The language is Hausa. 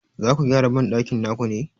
Zaku gyara banɗakin naku ne?